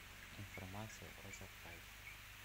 информация о заказе